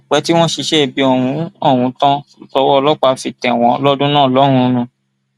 kò pẹ tí wọn ṣiṣẹ ibi ọhún ọhún tán tọwọ ọlọpàá fi tẹ wọn lọdún náà lọhùnún